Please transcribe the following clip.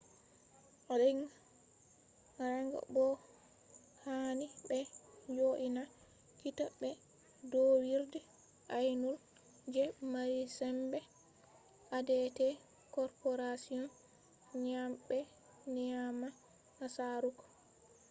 ring bo'o hani ɓe jo'ina kita be ɗowirɗe aynol je mari sembe adt corporation ngam ɓe nyama nasaraku